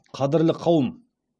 қадірлі қауым